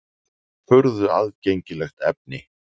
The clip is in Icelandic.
Furðu aðgengilegt efni!